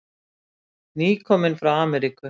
Nýkominn frá Ameríku.